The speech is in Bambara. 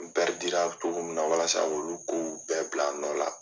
N cogo min na walasa olu kow bɛɛ bila a nɔ la.